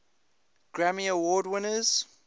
grammy award winners